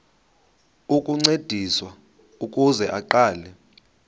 ukuncediswa ukuze aqale